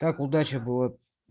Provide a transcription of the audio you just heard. так удача была